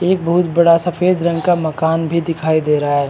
एक बहुत बड़ा सफेद रंग का मकान भी दिखाई दे रहा है।